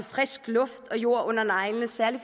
frisk luft og jord under neglene særlig